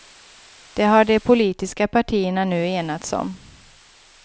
Det har de politiska partierna nu enats om.